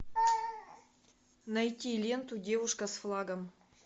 найти ленту девушка с флагом